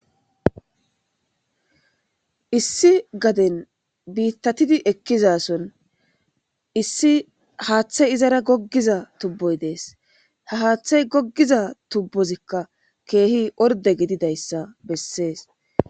issi gaden biittatidi ekkizason issi haaththey izara goggiza tubboy dees ha haaththey goggiza tubbozikka keehi orde gididayssa bessees